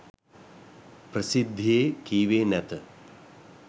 ප්‍රසිද්ධියේ කීවේ නැත.